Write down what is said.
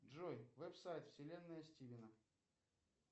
джой веб сайт вселенная стивена